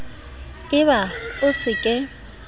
e ba o se ke